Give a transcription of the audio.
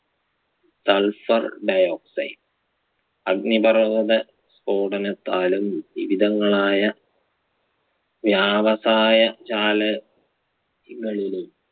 sulphur dioxide അഗ്നിപർവത സ്ഫോടനത്താലും വിവിധങ്ങളായ വ്യവസായശാല കളിലും